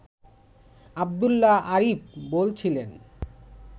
আবদুল্লাহ আরিফ বলছিলেন